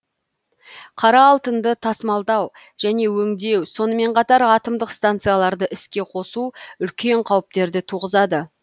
қара алтынды тасымалдау және өңдеу сонымен қатар атомдық станцияларды іске қосу үлкен қауіптерді туғызады